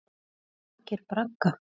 Byggja borgir bragga?